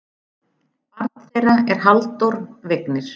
Barn þeirra er Halldór Vignir.